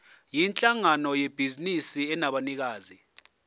yinhlangano yebhizinisi enabanikazi